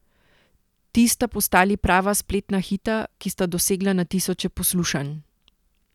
Ti sta postali prava spletna hita, ki sta dosegla na tisoče poslušanj.